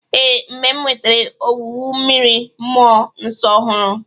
Ee, mgbe m nwetara ọwụwụ mmiri mmụo nso ọhụrụ.